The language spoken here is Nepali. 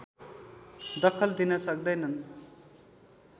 दखल दिन सक्दैनन्